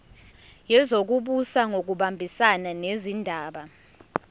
wezokubusa ngokubambisana nezindaba